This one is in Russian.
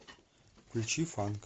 включи фанк